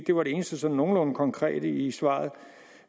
det var det eneste sådan nogenlunde konkrete i svaret